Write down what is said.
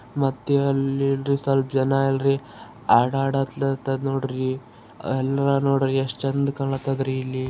ಮತ್ತೆ ಅಲ್ಲೇನ್ರಿ ಸ್ವಲ್ಪ ಜನ ಎಲ್ರಿ ಆಟ ಅಡತರ್ ನೋಡ್ರಿ ಅಲ್ಲಾರ್ ನೋಡ್ರಿ. ಎಷ್ಟ್ ಚಂದ್ ಕಾಣತಾದ್ ರೀ ಇಲ್ಲಿ.